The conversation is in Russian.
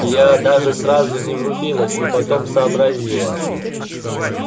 я даже сразу не врубилась но потом сообразила